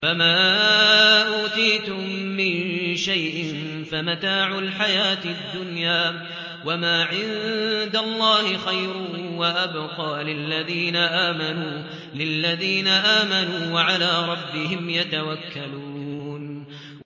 فَمَا أُوتِيتُم مِّن شَيْءٍ فَمَتَاعُ الْحَيَاةِ الدُّنْيَا ۖ وَمَا عِندَ اللَّهِ خَيْرٌ وَأَبْقَىٰ لِلَّذِينَ آمَنُوا وَعَلَىٰ رَبِّهِمْ يَتَوَكَّلُونَ